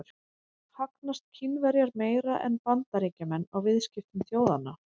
Hagnast Kínverjar meira en Bandaríkjamenn á viðskiptum þjóðanna?